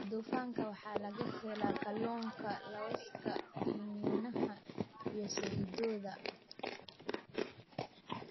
Dufanka waxaa laga helaa kalluunka, lawska, iniinaha iyo saliiddooda.